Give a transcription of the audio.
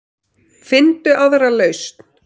Finndu aðra lausn.